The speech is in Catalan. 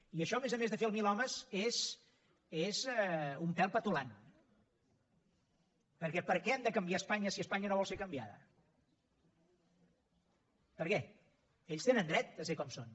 i això a més a més de fer el milhomes és un pèl petulant perquè per què hem de canviar espanya si espanya no vol ser canviada per què ells tenen dret a ser com són